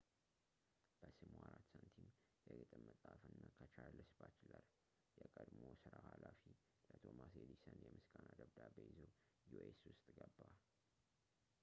በስሙ 4 ሳንቲም፣ የግጥም መፅሐፍ እና ከቻርልስ ባችለር የቀድሞ ስራው ኃላፊ ለቶማስ ኤዲሰን የምስጋና ደብዳቤ ይዞ ዩኤስ ውስጥ ገባ